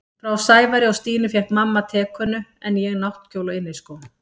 Frá Sævari og Stínu fékk mamma tekönnu en ég náttkjól og inniskó.